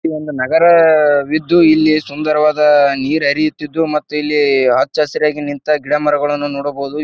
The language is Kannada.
ಇಲ್ ಒಂದು ನಗರವಿದ್ದು ಇಲ್ಲಿ ಸುಂದರವಾದ ನೀರ್ ಹರಿಯುತ್ತಿದ್ದು ಮತ್ ಹಚ್ ಹಸಿರಾಗಿ ನಿಂತ ಗಿಡ ಮರವನ್ನು ನೋಡಬಹುದು.